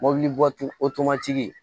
Mɔbilitigi o tob'o tigi ye